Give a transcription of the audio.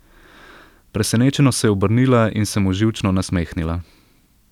Presenečeno se je obrnila in se mu živčno nasmehnila.